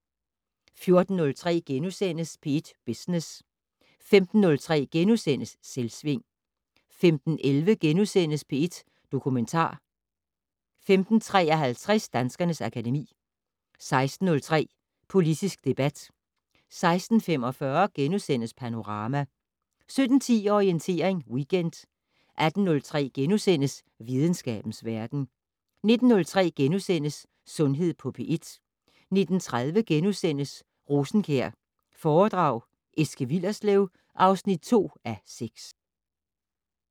14:03: P1 Business * 15:03: Selvsving * 15:11: P1 Dokumentar * 15:53: Danskernes akademi 16:03: Politisk debat 16:45: Panorama * 17:10: Orientering Weekend 18:03: Videnskabens verden * 19:03: Sundhed på P1 * 19:30: Rosenkjær foredrag Eske Willerslev (2:6)*